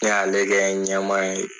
Ne y'ale kɛ ɲɛmaa ye.